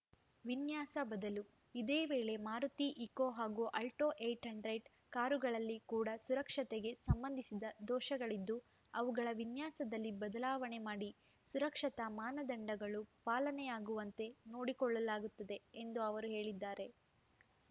ವಿನ್ಯಾಸ ಬದಲು ಇದೇ ವೇಳೆ ಮಾರುತಿ ಇಕೋ ಹಾಗೂ ಆಲ್ಟೋಏಟ್ ಹಂಡ್ರೆಡ್ ಕಾರುಗಳಲ್ಲಿ ಕೂಡ ಸುರಕ್ಷತೆಗೆ ಸಂಬಂಧಿಸಿದ ದೋಷಗಳಿದ್ದು ಅವುಗಳ ವಿನ್ಯಾಸದಲ್ಲಿ ಬದಲಾವಣೆ ಮಾಡಿ ಸುರಕ್ಷತಾ ಮಾನದಂಡಗಳು ಪಾಲನೆಯಾಗುವಂತೆ ನೋಡಿಕೊಳ್ಳಲಾಗುತ್ತದೆ ಎಂದು ಅವರು ಹೇಳಿದ್ದಾರೆ